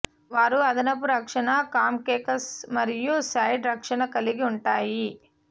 వారు అదనపు రక్షణ క్రాంక్కేస్ మరియు సైడ్ రక్షణ కలిగి ఉంటాయి